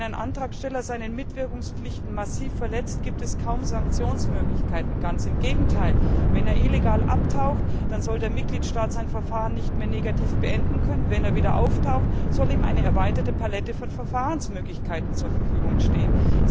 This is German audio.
Wenn ein Antragsteller seine Mitwirkungspflichten massiv verletzt, gibt es kaum Sanktionsmöglichkeiten ganz im Gegenteil Wenn er illegal abtaucht, dann soll der Mitgliedstaat sein Verfahren nicht mehr negativ beenden können, wenn er wieder auftaucht, soll ihm eine erweiterte Palette von Verfahrensmöglichkeiten zur Verfügung stehen.